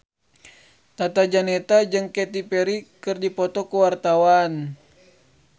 Tata Janeta jeung Katy Perry keur dipoto ku wartawan